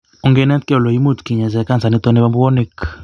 Onginetkei ele imuch kinyaitai kansa nitok nebo bwonik